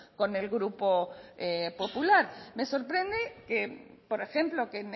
con el grupo popular me sorprende que por ejemplo que